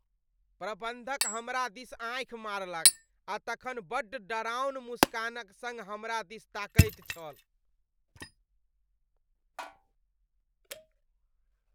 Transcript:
प्रबन्धक हमरा दिस आँखि मारलक आ तखन बड्ड डराओन मुस्कानक सङ्ग हमरा दिस ताकैत छल।